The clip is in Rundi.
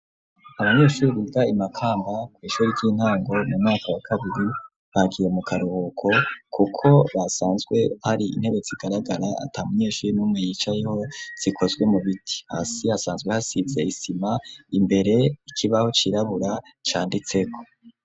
Abanyeshure biga imakamba ku ishure ry'intango mu mwaka wa kabiri bagiye mu karuhuko kuko hasanzwe hari intebe zigaragara ata munyeshure numwe yicayeho zikozwe mu biti, hasi hasanzwe hasize isima imbere ikibaho cirabura canditseko.